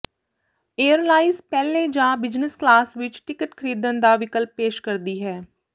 airlines ਪਹਿਲੇ ਜਾਂ business class ਵਿਚ ਟਿਕਟ ਖਰੀਦਣ ਦਾ ਵਿਕਲਪ ਪੇਸ਼ ਕਰਦੀ ਹੈ